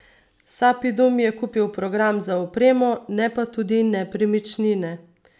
Sapidum je kupil program z opremo, ne pa tudi nepremičnine.